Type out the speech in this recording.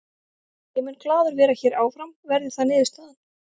Ég mun glaður vera hér áfram verði það niðurstaðan.